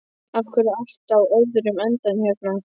Af hverju er allt á öðrum endanum hérna?